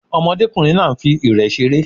Ọmọdékùnrin náà nfi ìrẹ̀ seré